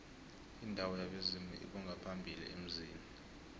indawo yabezimu lbongaphambili emzini